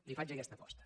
li faig aquesta aposta